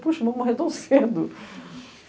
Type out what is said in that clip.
Puxa, eu vou morrer tão cedo.